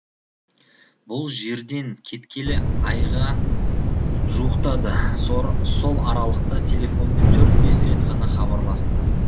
бұл жерден кеткелі айға жуықтады сол аралықта телефонмен төрт бес рет қана хабарласты